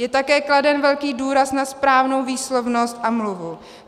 Je také kladen velký důraz na správnou výslovnost a mluvu.